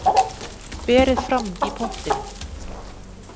Berið fram í pottinum.